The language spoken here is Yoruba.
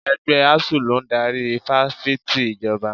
Ẹgbẹ́ Asuu ló ń darí Ifáfìti Ìjọba.